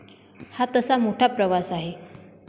हा तसा मोठा प्रवास आहे.